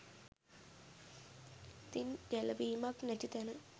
ඉතින් ගැලවීමක් නැති තැන